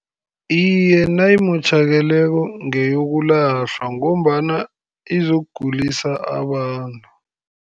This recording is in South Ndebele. Iye, nayimotjhakeleko ngeyokulahlwa ngombana izokugulisa abantu.